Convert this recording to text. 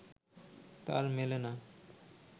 তার মেলে না